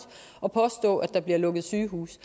og påstå at der bliver lukket sygehuse